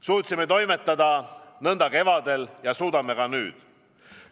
Suutsime toimetada nõnda kevadel ja suudame ka nüüd.